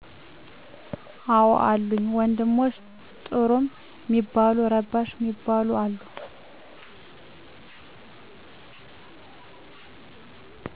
አዎ አሉኝ፣ ወንድሞቸ ጥሩም ሚባሉ ረባሽ ሚባሉም አሉ።